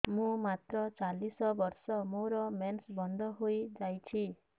ମୁଁ ମାତ୍ର ଚାଳିଶ ବର୍ଷ ମୋର ମେନ୍ସ ବନ୍ଦ ହେଇଯାଇଛି